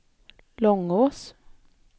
Långås